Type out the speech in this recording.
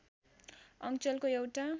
अञ्चलको एउटा